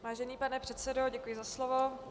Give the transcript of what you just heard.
Vážený pane předsedo, děkuji za slovo.